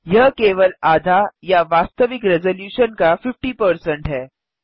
यह केवल आधा या वास्तविक रेज़लूशन का 50 है